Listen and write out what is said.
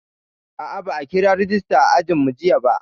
A'a, ba a kira rejista a ajinmu jiya ba.